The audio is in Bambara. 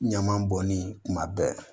Ɲama bɔnni kuma bɛɛ